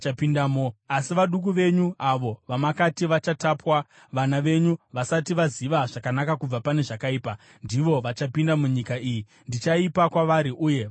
Asi vaduku venyu avo vamakati vachatapwa, vana venyu vasati vaziva zvakanaka kubva pane zvakaipa ndivo vachapinda munyika iyi. Ndichaipa kwavari uye vachaitora.